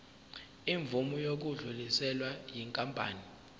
imvume yokudluliselwa yinkampani